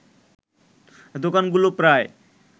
দোকানগুলো প্রায়